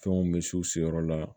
Fɛnw mɛ misiw siyɔrɔ la